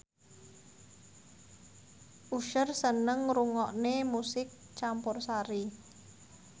Usher seneng ngrungokne musik campursari